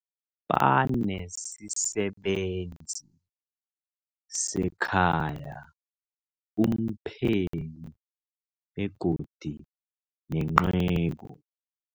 Banesisebenzi sekhaya, umpheki, begodu nenceku.